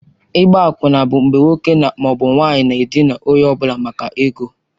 Ịgba akwụna bụ mgbe nwoke ma ọ bụ nwanyị na-edina onye ọ bụla maka ego.